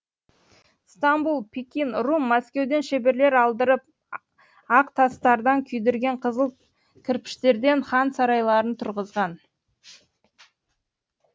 стамбул пекин рум мәскеуден шеберлер алдырып ақ тастардан күйдірген қызыл кірпіштерден хан сарайларын тұрғызған